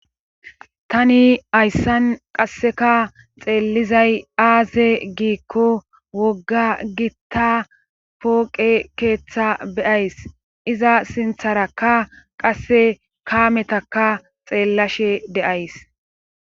tani hayssan qasseka xeellizay aaze giikko wogga gitta pooqe keeththa beyays iza sintharakka qasse kaametaka xeellashe de7ays